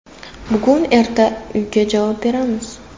Bugun-erta uyiga javob beramiz.